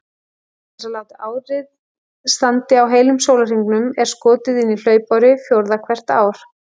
Til þess að árið standi á heilum sólarhringum er skotið inn hlaupári fjórða hvert ár.